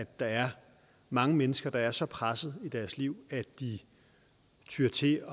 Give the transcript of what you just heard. at der er mange mennesker der er så presset i deres liv at de tyer til